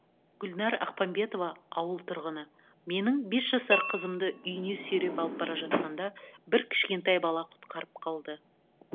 гүлнар ақпамбетова ауыл тұрғыны менің бес жасар қызымды үйіне сүйреп алып бара жатқанда бір кішкентай бала құтқарып қалды